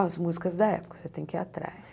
As músicas da época, você tem que ir atrás.